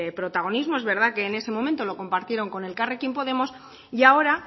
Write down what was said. protagonismo es verdad que en ese momento lo compartieron con elkarrekin podemos y ahora